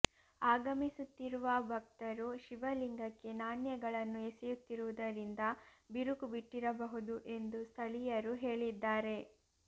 ಆಗಮಿಸುತ್ತಿರುವ ಭಕ್ತರು ಶಿವಲಿಂಗಕ್ಕೆ ನಾಣ್ಯಗಳನ್ನು ಎಸೆಯುತ್ತಿರುವುದರಿಂದ ಬಿರುಕು ಬಿಟ್ಟಿರಬಹುದು ಎಂದು ಸ್ಥಳೀಯರು ಹೇಳಿದ್ದಾರೆ